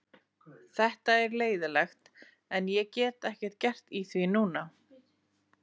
Þetta er leiðinlegt en ég get ekkert gert í því núna.